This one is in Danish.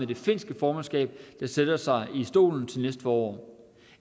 det finske formandskab der sætter sig i stolen til næste forår